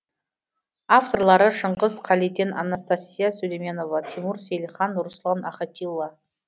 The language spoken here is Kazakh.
авторлары шыңғыс қалиден анастасия сулейменова тимур сейлхан руслан ахатилла